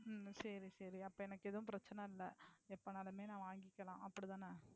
உம் சரி சரி, அப்போ எனக்கு ஏதும் பிரச்னையில்லை எப்பனாலுமே நான் வாங்கிக்கலாம் அப்படித்தானே.